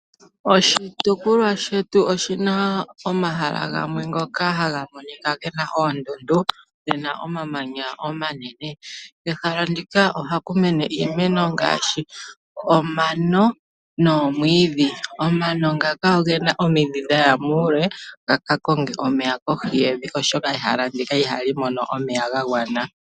Oshitopolwa shetu oshina omahala gamwe ngoka haga monika gena oondundu, gena omamanya omanene. Kehala ndika ohaku mene iimeno ngaashi omano noomwiidhi. Omano ngaka ogena omidhi dhaya muule ga ka konge omeya kohi yevi oshoka ehala ndika ihali mono omeya ga gwana.